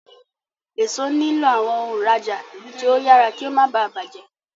Èso nilo awọn òǹrajà tí o yàrá kí o má bá bàjé.